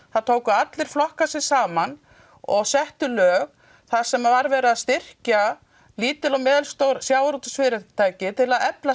tóku allir flokkar sig saman og settu lög þar sem var verið að styrkja lítil og meðalstór sjávarútvegsfyrirtæki til að efla